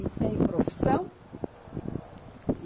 E sem profissão.